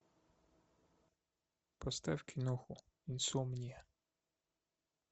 поставь киноху инсомния